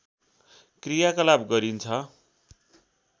क्रियाकलाप गरिन्छ